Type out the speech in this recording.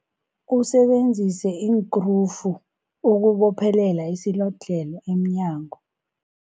Usebenzise iinkrufu ukubophelela isilodlhelo emnyango.